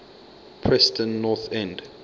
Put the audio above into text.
preston north end